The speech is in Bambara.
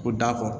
Ko dako